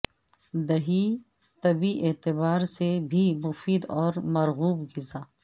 دہی طبی اعتبار سے بھی مفید اور مرغوب غذا